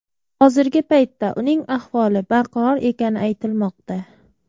Hozirgi paytda uning ahvoli barqaror ekani aytilmoqda.